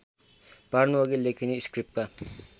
पार्नुअघि लेखिने स्क्रिप्टका